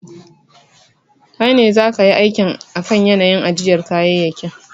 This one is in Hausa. Kai ne zaka yi aiki akan yanayin ajiyar kayayyakin.